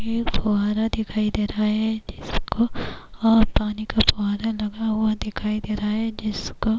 ایک فوارہ دکھائی دے رہا ہے جس کو اور پانی کا فوارہ لگا ہوا دکھائی دے رہا ہے جس کو- -